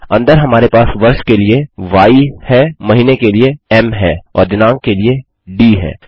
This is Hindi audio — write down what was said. अंदर हमारे पास वर्ष के लिए य है महीने के लिए एम है और दिनाँक के लिए डी है